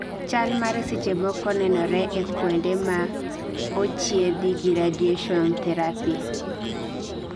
Chalmare seche moko nenore ee kuonde ma ochiedhi gi radiation therapy